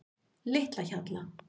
Litlahjalla